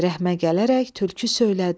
Rəhmə gələrək tülkü söylədi.